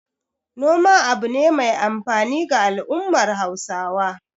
Noma abu ne mai amfani ga al'ummar Hausawa.